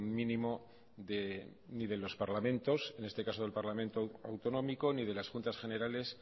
mínimo ni de los parlamentos en este caso del parlamento autonómico ni de las juntas generales